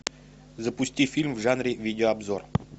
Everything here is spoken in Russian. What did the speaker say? запусти фильм в жанре видеообзор